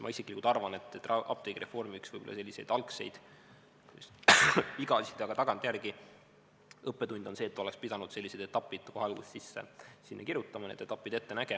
Ma isiklikult arvan, et apteegireformi üks võib-olla selliseid algseid, kas nüüd vigasid, aga tagantjärele õppetunde on see, et oleks pidanud sellised etapid kohe alguses sinna sisse kirjutama, need etapid ette nägema.